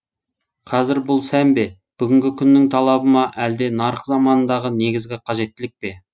қазір бұл сән бе бүгінгі күннің талабы ма әлде нарық заманындағы негізгі қажеттілік пе